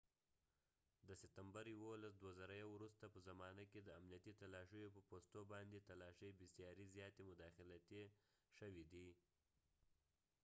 د ستمبر 11 2001 وروسته په زمانه کې د امنیتي تلاشیو په پوستو باندې تلاشۍ بسیارې زیاتې مداخلتي شوې دي